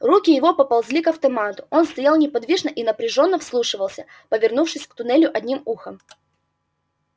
руки его поползли к автомату он стоял неподвижно и напряжённо вслушивался повернувшись к туннелю одним ухом